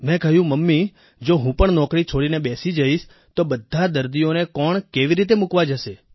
મેં કહ્યું મમ્મી જો હું પણ નોકરી છોડીને બેસી જઈશ તો બધા દર્દીઓને કોણ કેવી રીતે મૂકવા જશે